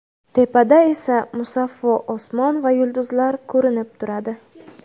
Tepada esa musaffo osmon va yulduzlar ko‘rinib turadi.